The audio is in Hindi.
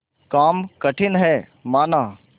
काम कठिन हैमाना